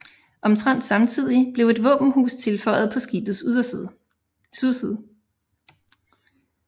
Omtrent samtidig blev et våbenhus tilføjet på skibets sydside